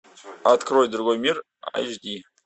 открой другой мир эйч ди